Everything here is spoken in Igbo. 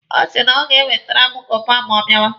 Ọ sị na o ga-ewetere m goova ma ọ bịawa.